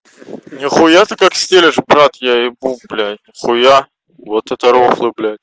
нихуя ты как стелишь брат я ебу блядь хуя вот это рофлы блядь